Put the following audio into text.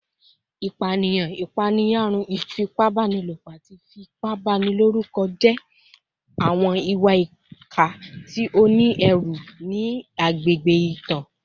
Ipaniyan, ipaeyarun, ifipabanilopo, ati ifipabaniloruko jẹ awọn iwa-ipa ti o ni ẹru ni agbegbe itan